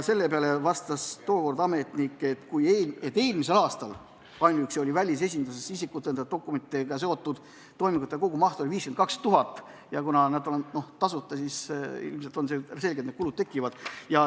Selle peale vastas tookord ametnik, et ainuüksi eelmisel aastal oli välisesindustes isikut tõendavate dokumentidega seotud toimingute kogumaht 52 000 ja kuna need toimingud on tasuta, siis on selge, et kulud tekivad.